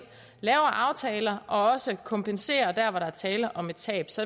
laver aftaler og også kompenserer der hvor der er tale om et tab så